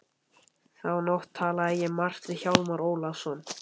Þá nótt talaði ég margt við Hjálmar Ólafsson.